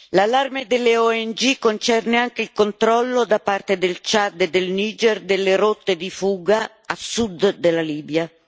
L'allarme delle ONG concerne anche controllo, da parte del Ciad e del Niger, delle rotte di fuga a sud della Libia.